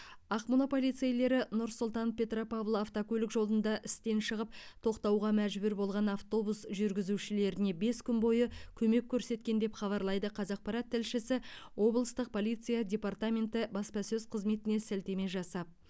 ақмола полицейлері нұр сұлтан петропавл автокөлік жолында істен шығып тоқтауға мәжбүр болған автобус жүргізушілеріне бес күн бойы көмек көрсеткен деп хабарлайды қазақпарат тілшісі облыстық полиция департаменті баспасөз қызметіне сілтеме жасап